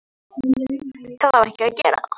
Það á ekki að gera það.